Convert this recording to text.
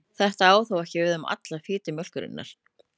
Þetta á þó ekki við um alla fitu mjólkurinnar.